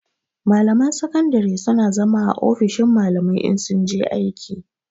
Malaman sakandare su na zama a ofishin malamai in sun je aiki